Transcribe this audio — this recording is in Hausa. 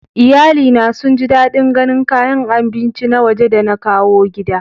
Iyalina sun ji dadin ganin kayan abinci na waje da na kawo gida.